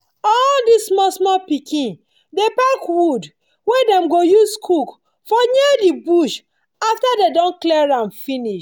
all this small small pikin dey pack wood wey dem go use cook for near the bush after dem don clear am finish.